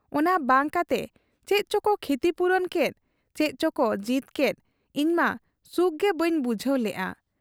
ᱚᱱᱟᱵᱟᱝ ᱠᱟᱛᱮ ᱪᱮᱫ ᱪᱚᱠᱚ ᱠᱷᱤᱛᱤᱯᱩᱨᱚᱱ ᱠᱮᱫ, ᱪᱮᱫ ᱪᱚᱠᱚ ᱡᱤᱛ ᱠᱮᱫ ᱤᱧᱢᱟ ᱥᱩᱠᱜᱮ ᱵᱟᱹᱧ ᱵᱩᱡᱷᱟᱹᱣ ᱞᱮᱜ ᱟ ᱾